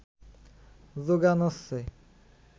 যোগান হচ্ছে